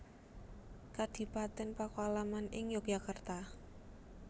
Kadipaten Pakualaman ing Yogyakarta